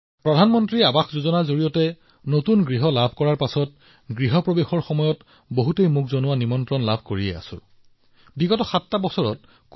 প্ৰধানমন্ত্ৰী আৱাস যোজনাৰ অধীনত এটা ঘৰ পোৱাৰ পিছত গৃহ প্ৰৱেশ আয়োজনৰ বাবে আমাৰ দেশবাসীৰ পৰা নিৰন্তৰ ভাৱে বহুতো নিমন্ত্ৰণ পাই আহিছো